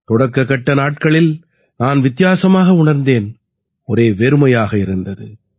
தொடக்கக்கட்ட நாட்களில் நான் வித்தியாசமாக உணர்ந்தேன் ஒரே வெறுமையாக இருந்தது